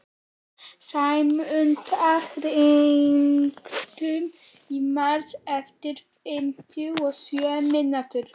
Sæmunda, hringdu í Mars eftir fimmtíu og sjö mínútur.